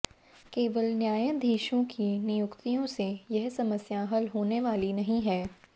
केवल न्यायाधीशों की नियुक्तियों से यह समस्या हल होने वाली नहीं है